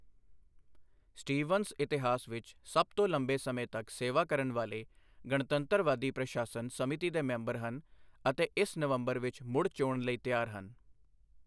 Stevens ਇਤਿਹਾਸ ਵਿੱਚ ਸਭ ਤੋਂ ਲੰਬੇ ਸਮੇਂ ਤੱਕ ਸੇਵਾ ਕਰਨ ਵਾਲੇ ਗਣਤੰਤਰਵਾਦੀ ਪ੍ਰਸ਼ਾਸਨ ਸਮਿਤੀ ਦੇ ਮੈਂਬਰ ਹਨ ਅਤੇ ਇਸ ਨਵੰਬਰ ਵਿੱਚ ਮੁੜ ਚੋਣ ਲਈ ਤਿਆਰ ਹਨ।